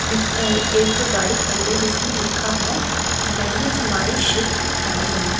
लिख एक गाड़ी खड़ी है जिसमें लिखा हैं मैनेज माई शिफ्ट टाइम ।